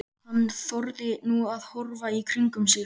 Hann þorði nú að horfa í kringum sig.